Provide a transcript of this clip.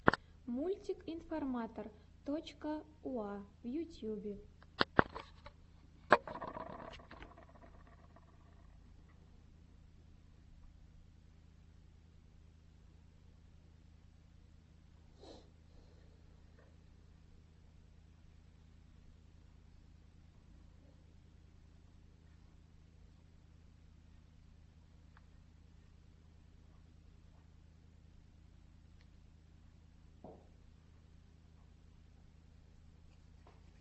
мультик информатор точка уа в ютьюбе